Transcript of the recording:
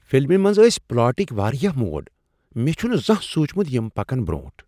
فلمہ منز آسۍ پلاٹکۍ واریاہ موڑ! مےٚ چھُنہ زانہہ سوچمُت یِم پکن برونٹھ۔